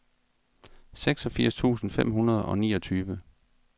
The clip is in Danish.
seksogfirs tusind fem hundrede og niogtyve